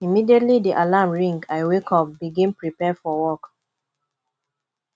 immediately di alarm ring i wake up begin prepare for work